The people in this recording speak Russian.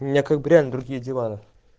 у меня как бы реально другие дела